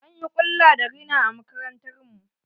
An yi ƙulla da rina a makarantar mu.